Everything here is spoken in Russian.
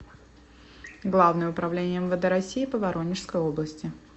главное управление мвд россии по воронежской области